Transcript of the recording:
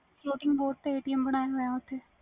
spoting boat ਤੇ atm ਬਣਿਆ ਹੋਇਆ ਓਥੇ